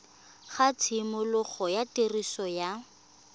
ga tshimologo ya tiriso ya